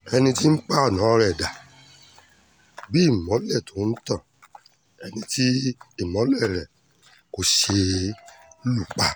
ẹni tí ipa ọ̀nà rẹ̀ dà bí ìmọ́lẹ̀ tó ń tan ẹni tí ìmọ́lẹ̀ rẹ̀ kò ṣe é lù pa